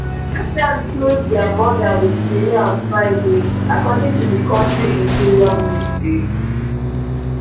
jordan close dia border wit syria on friday according to di kontri interior ministry